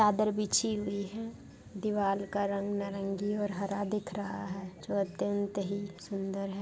चदर बिछी हुई है दीवाल का रंग नारंगी और हरा दिख रहा है जो अत्यंत ही सुंदर है।